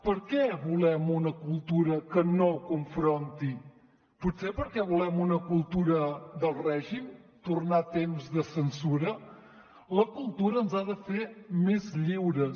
per què volem una cultura que no confronti potser perquè volem una cultura del règim tornar a temps de censura la cultura ens ha de fer més lliures